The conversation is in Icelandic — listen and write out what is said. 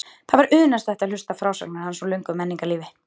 Það var unaðslegt að hlusta á frásagnir hans úr löngu menningarlífi.